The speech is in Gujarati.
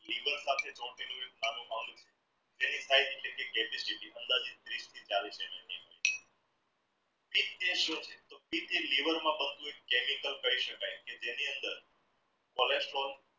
liver નાનો અંગ chemical કહી શકાય તેની અંદર colestrol